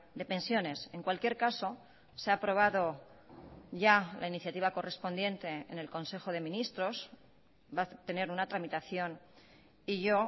de pensiones en cualquier caso se ha aprobado ya la iniciativa correspondiente en el consejo de ministros va a tener una tramitación y yo